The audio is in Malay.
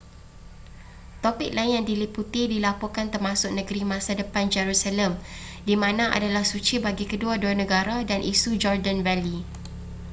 topik lain yang diliputi dilaporkan termasuk negeri masa depan jerusalem di mana adalah suci bagi kedua-dua negara dan isu jordan valley